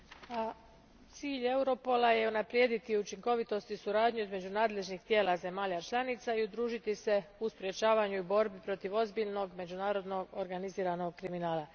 Gospođo predsjednice, cilj Europola je unaprijediti učinkovitost i suradnju između nadležnih tijela zemalja članica i udružiti se u sprečavanju i borbi protiv ozbiljnog međunarodnog organiziranog kriminala.